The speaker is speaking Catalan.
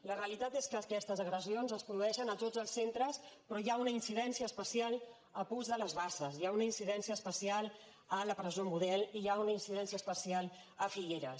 la realitat és que aquestes agressions es produeixen a tots els centres però hi ha un incidència especial a puig de les basses hi ha una incidència especial a la presó model i hi ha una incidència especial a figueres